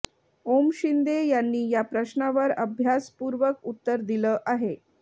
ओम शिंदे यांनी या प्रश्नावर आभ्यसपूर्वक उत्तर दिलं आहे